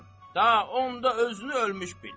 da onda özünü ölmüş bil.